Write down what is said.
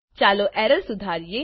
ચાલો એરર સુધાર કરીએ